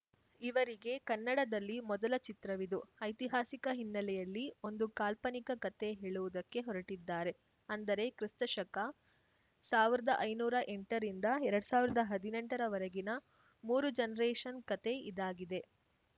ಇವರಿಗೆ ಕನ್ನಡದಲ್ಲಿ ಮೊದಲ ಚಿತ್ರವಿದು ಐತಿಹಾಸಿಕ ಹಿನ್ನೆಲೆಯಲ್ಲಿ ಒಂದು ಕಾಲ್ಪನಿಕ ಕತೆ ಹೇಳುವುದಕ್ಕೆ ಹೊರಟಿದ್ದಾರೆ ಅಂದರೆ ಕ್ರಿಸ್ತಶಕಸಾವ್ರ್ದಾ ಐನೂರ ಎಂಟ ರಿಂದ ಎರಡ್ ಸಾವ್ರ್ದಾ ಹದ್ನೆಂಟ ರವರೆಗಿನ ಮೂರು ಜನ್ರೇಷನ್‌ ಕತೆ ಇದಾಗಿದೆ